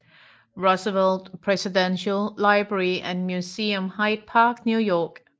Roosevelt Presidential Library and Museum Hyde Park New York